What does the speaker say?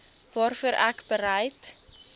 waarvoor ek bereid